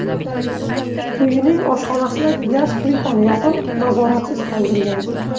uyining oshxonasidagi gaz plitani yoqib, nazoratsiz qoldirgan.